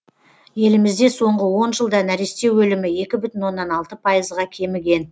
елімізде соңғы он жылда нәресте өлімі екі бүтін оннан алты пайызға кеміген